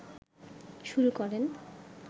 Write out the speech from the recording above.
শুরু করেন